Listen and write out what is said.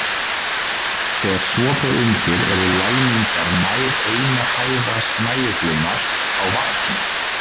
Þegar svo ber undir eru læmingjar nær eina fæða snæuglunnar á varptíma.